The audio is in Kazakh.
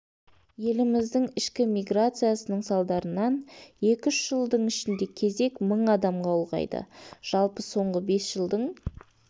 еліміздің ішкі миграциясының салдарынан екі-үш жылдың ішінде кезек мың адамға ұлғайды жалпы соңғы бес жылдың